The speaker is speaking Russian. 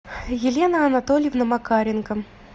елена анатольевна макаренко